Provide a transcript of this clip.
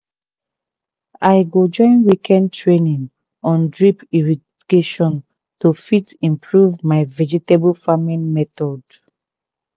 i go join weekend training on drip irrigation to fit improve my vegetable farming method